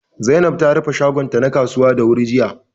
Zainab ta rufe shagon ta na kasuwa da wuri jiya